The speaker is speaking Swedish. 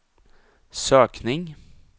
sökning